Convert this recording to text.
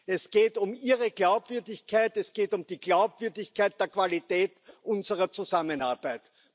Es geht um Ihre Glaubwürdigkeit. Es geht um die Glaubwürdigkeit der Qualität unserer Zusammenarbeit.